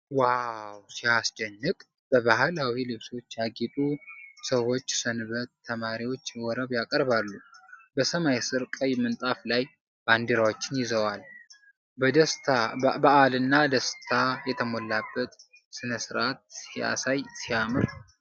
ዋው ሲያስደንቅ! በባህላዊ ልብሶች ያጌጡ ሰዎች ሰንበት ተማሪዎች ወረብ ያቀርባሉ። በሰማይ ስር፣ ቀይ ምንጣፍ ላይ፣ ባንዲራዎችን ይዘዋል። በዓልና ደስታ የሞላበት ሥነ ሥርዓት ሲያሳይ፣ ሲያምር!